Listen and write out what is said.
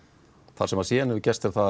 það sem síðan hefur gerst er að